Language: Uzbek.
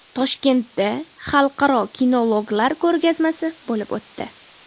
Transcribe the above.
Toshkentda xalqaro kinologlar ko‘rgazmasi bo‘lib o‘tdi .